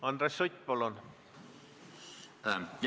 Andres Sutt, palun!